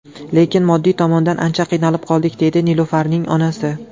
Lekin moddiy tomondan ancha qiynalib qoldik”, deydi Nilufarning onasi.